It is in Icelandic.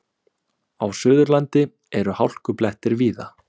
Á Suðurlandi eru hálkublettir víða